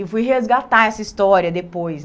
E fui resgatar essa história depois.